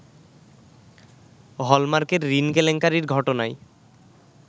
হলমার্কের ঋণ কেলেঙ্কারির ঘটনায়